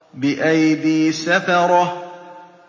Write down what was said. بِأَيْدِي سَفَرَةٍ